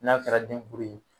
N'a kɛra denguru ye